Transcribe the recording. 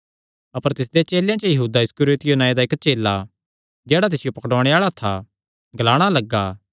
अपर तिसदे चेलेयां च यहूदा इस्करियोती नांऐ दा इक्क चेला जेह्ड़ा तिसियो पकड़ुआणे आल़ा था ग्लाणा लग्गा